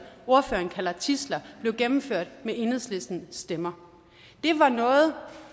ordføreren kalder tidsler blev gennemført med enhedslistens stemmer